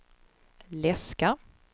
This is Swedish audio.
läska